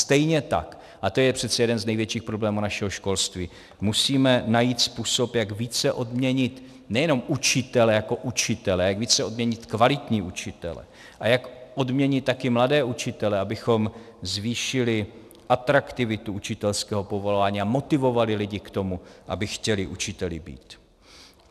Stejně tak, a to je přece jeden z největších problémů našeho školství, musíme najít způsob, jak více odměnit nejenom učitele jako učitele, jak více odměnit kvalitní učitele a jak odměnit také mladé učitele, abychom zvýšili atraktivitu učitelského povolání a motivovali lidi k tomu, aby chtěli učiteli být.